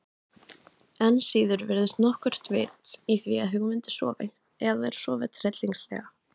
Enn síður virðist nokkurt vit í því að hugmyndir sofi, eða að þær sofi tryllingslega.